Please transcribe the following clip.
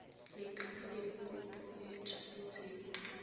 letlha le kopo e tshwanetseng